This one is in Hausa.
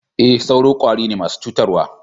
E, sauro kwari ne masu cutarwa.